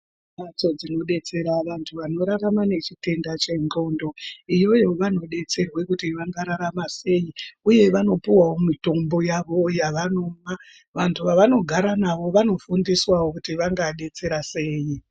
Mbatso dzinodetsera vantu vanorama nechitenda chendxondo. Iyoyo vanodetserwe kuti vangararama sei, uye vanopuwawo mitombo yavo yavanopa. Vantu vavanogara navo vanofundiswawo kuti vangadetsera sei.